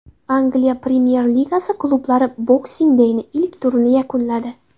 Angliya Premyer-Ligasi klublari Boxing day’ning ilk turini yakunladi.